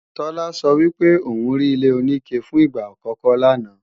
Tola sọ wípé òun rí ilé-oníke fún ìgbà àkọ́kọ́ lánàá